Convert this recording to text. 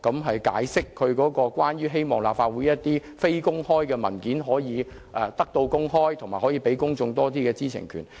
她解釋為何她希望立法會的非公開文件可以得到公開，讓公眾有更多知情權。